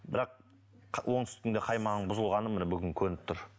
бірақ оңтүстіктің де қаймағының бұзылғаны міне бүгін көрініп тұр